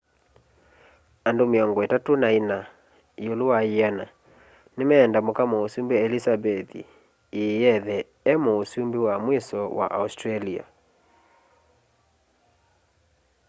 andũ mĩongo itatũ na ĩna yĩũlũ wa yĩana nĩmenda mũka mũsũmbĩ elizabeth ĩĩ ethe e mũsũmbĩ wa mwĩso wa australia